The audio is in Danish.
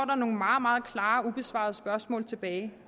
nogle meget meget klare ubesvarede spørgsmål tilbage